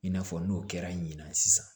I n'a fɔ n'o kɛra ɲina sisan